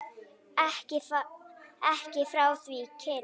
Ekki frá því kyn